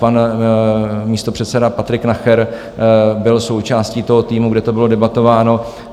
Pan místopředseda Patrik Nacher byl součástí toho týmu, kde to bylo debatováno.